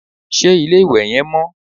Ṣé ilé-ìwẹ̀ yẹn mọ́?